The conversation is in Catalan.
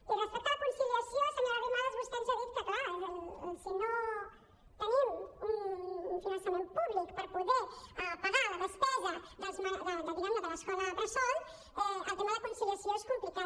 i respecte a la conciliació senyora arrimadas vostè ens ha dit que clar si no tenim un finançament públic per poder pagar la despesa diguem ne de l’escola bressol el tema de conciliació és complicat